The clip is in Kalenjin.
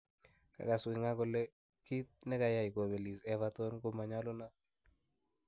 kagas Wenger kole kiit negayai kopelis Everton komanyalunot